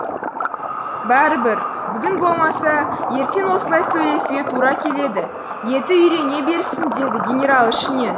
бәрібір бүгін болмаса ертең осылай сөйлесуге тура келеді еті үйрене берсін деді генерал ішінен